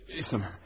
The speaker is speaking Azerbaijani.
İstəmirəm.